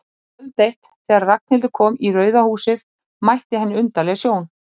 Kvöld eitt, þegar Ragnhildur kom í Rauða húsið, mætti henni undarleg sjón.